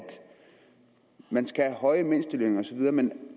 man skal have høje mindstelønninger osv men